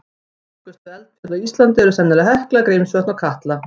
Virkustu eldfjöll á Íslandi eru sennilega Hekla, Grímsvötn og Katla.